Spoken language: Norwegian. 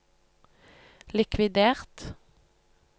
likvidert